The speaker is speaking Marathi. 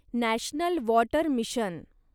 national water mission